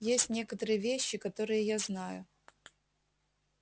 есть некоторые вещи которые я знаю